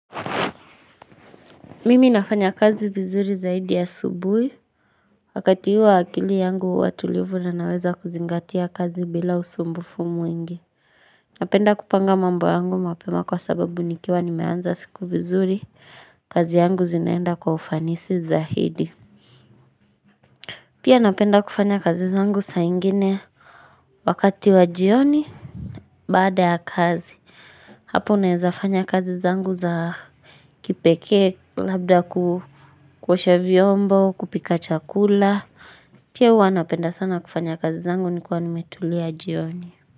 Mimi nafanya kazi vizuri zaidi ya subuhi, wakati ua akili yangu watulivu na naweza kuzingatia kazi bila usumbufu mwingi. Napenda kupanga mambo yangu mapema kwa sababu nikiwa ni meanza siku vizuri, kazi yangu zinaenda kwa ufanisi zaidi. Pia napenda kufanya kazi zangu saingine wakati wajioni baada ya kazi. Hapo unaezafanya kazi zangu za kipeke labda kuosha vyombo kupika chakula pia uanapenda sana kufanya kazi zangu nikuwa nimetulia jioni.